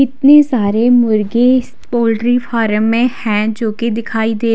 इतनी सारी मुर्गी पोल्ट्री फार्म में है जो की दिखाई दे--